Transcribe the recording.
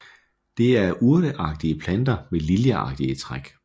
Det er urteagtige planter med liljeagtige træk